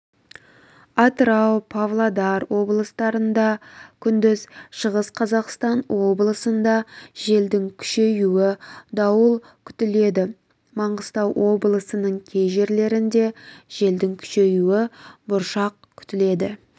атырау павлодар облыстарында күндіз шығыс қазақстан облысында желдің күшеюі дауыл күтіледі маңғыстау облысының кей жерлерінде желдің күшеюі бұршақ күтіледі